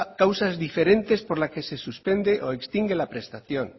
causas diferentes por la que se suspende o extingue la prestación